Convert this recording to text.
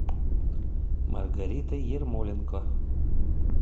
маргарита ермоленко